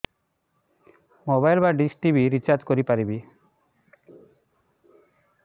mobile ବା dish TV recharge କରି ପାରିବି